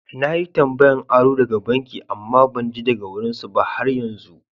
Na yi tambayan aro daga banki amma ban ji daga wurin su ba har yanzu.